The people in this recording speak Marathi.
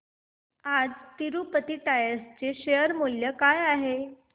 आज तिरूपती टायर्स चे शेअर मूल्य काय आहे